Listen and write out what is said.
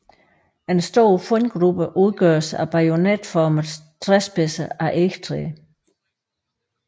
En stor fundgruppe udgøres af bajonetformede træspidser af egetræ